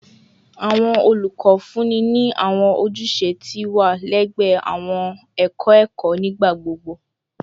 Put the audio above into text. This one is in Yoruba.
Awọn olukọ funni ni awọn ojuse ti iwa lẹgbẹẹ awọn ẹkọ ẹkọ nigbagbogbo.